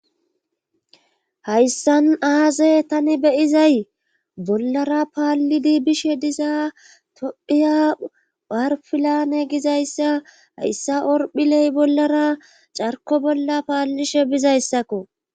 Hayssan aaze tani beyizay bollara paallidi bishe dizaa tophiya bharfilane gizayssa hayssa orphiley bollara carko bolla paallishe bizayssakko.